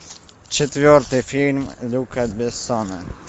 четвертый фильм люка бессона